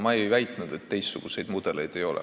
Ma ei väitnud, et teistsuguseid mudeleid ei ole.